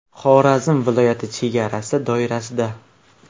Xorazm viloyati chegarasi doirasida.